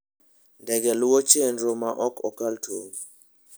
Ndege luwo chenro ma ok kal tong'.